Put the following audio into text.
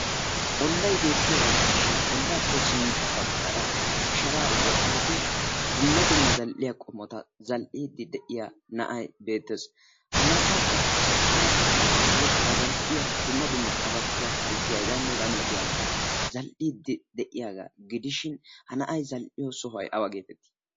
Ollay beettiyagaa gidishin ollaappe sintta baggaara sharaa woxalidi dumma dumma zal"iya qommota zal"iiddi de'iya na'ay beettees. Ha na'aykka qassi cora asatuyyo ba zal"iya dumma dumma qabattuwa, kalssiya h.h.m zal"iiddi de'iyagaa gidishin ha na'ay zal"iyo sohay awa geetettii?